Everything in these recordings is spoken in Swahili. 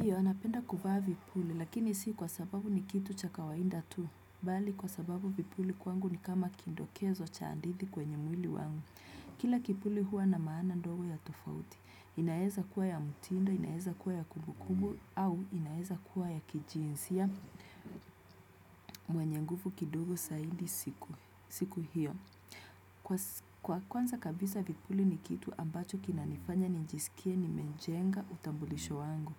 Pia, napenda kuvaa vipuli, lakini si kwa sababu ni kitu cha kawaida tu. Bali, kwa sababu vipuli kwangu ni kama kindokezo cha hadithi kwenye mwili wangu. Kila kipuli huwa na maana ndogo ya tofauti. Inaeza kuwa ya mutindo, inaeza kuwa ya kumbukumbu, au inaeza kuwa ya kijinsia mwenye nguvu kidogo zaidi siku hiyo. Kwa kwanza kabisa vipuli ni kitu ambacho kinanifanya nijisikie nimejenga utambulisho wangu.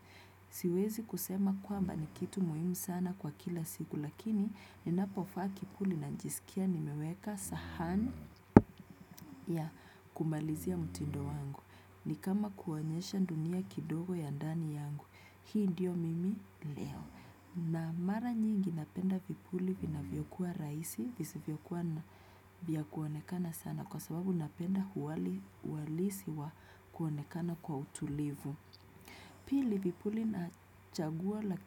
Siwezi kusema kwamba ni kitu muhimu sana kwa kila siku lakini ninapovaa kipuli najisikia nimeweka sahani ya kumalizia mtindo wangu ni kama kuonyesha dunia kidogo ya ndani yangu hii ndiyo mimi leo na mara nyingi napenda vipuli vinavyokuwa rahisi vizivyokuwa vya kuonekana sana kwa sababu napenda uwali uhalisi wa kuonekana kwa utulivu. Pili vipuli nachagua la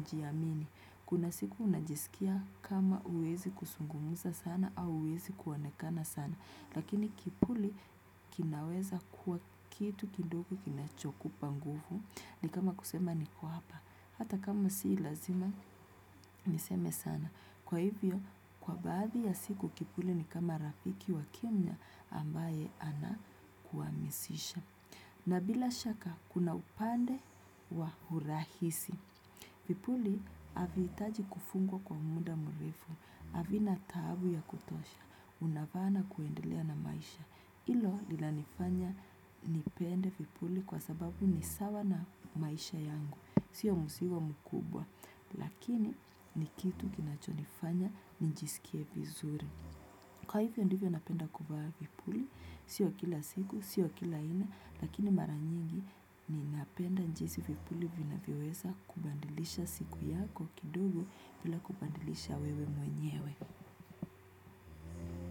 kujiamini. Kuna siku unajisikia kama huwezi kuzungumza sana au huwezi kuonekana sana. Lakini kipuli kinaweza kuwa kitu kidogo kinachokupa nguvu. Ni kama kusema niko hapa. Hata kama si lazima niseme sana. Kwa hivyo, kwa baadhi ya siku kipuli ni kama rafiki wa kimya ambaye ana kuhamasisha. Na bila shaka, kuna upande wa urahisi. Vipuli, havihitaji kufungwa kwa muda mrefu. Havina taabu ya kutosha. Unavaa na kuendelea na maisha. Ilo linanifanya nipende vipuli kwa sababu ni sawa na maisha yangu. Sio mzigo mkubwa. Lakini, ni kitu kinachonifanya nijisikie vizuri. Kwa hivyo ndivyo napenda kuvaa vipuli, sio kila siku, sio kila haina, lakini mara nyingi ninapenda jinsi vipuli vinavyoweza kubadilisha siku yako kidogo bila kubadilisha wewe mwenyewe.